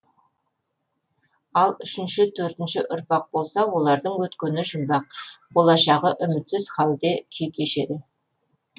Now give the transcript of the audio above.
ал үшінші төртінші ұрпақ болса олардың өткені жұмбақ болашағы үмітсіз халде күй кешеді